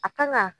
A kan ka